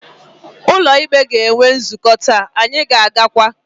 Ụlọ ikpe ga-enwe nzukọ taa, anyị ga-agakwa.